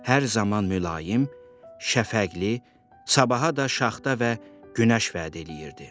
Hər zaman mülayim, şəfəqli, sabaha da şaxta və günəş vəd eləyirdi.